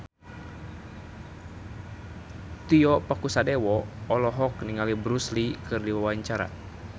Tio Pakusadewo olohok ningali Bruce Lee keur diwawancara